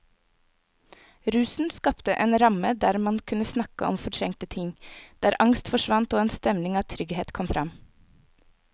Rusen skapte en ramme der man kunne snakke om fortrengte ting, der angst forsvant og en stemning av trygghet kom fram.